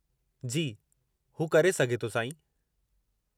जी, हू करे सघे थो साईं।